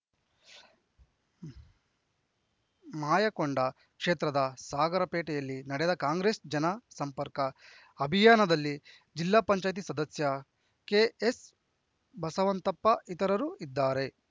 ಮಾಯಕೊಂಡ ಕ್ಷೇತ್ರದ ಸಾಗರಪೇಟೆಯಲ್ಲಿ ನಡೆದ ಕಾಂಗ್ರೆಸ್‌ ಜನ ಸಂಪರ್ಕ ಅಭಿಯಾನದಲ್ಲಿ ಜಿಲ್ಲಾ ಪಂಚಾಯತ್ ಸದಸ್ಯ ಕೆಎಸ್‌ಬಸವಂತಪ್ಪ ಇತರರು ಇದ್ದಾರೆ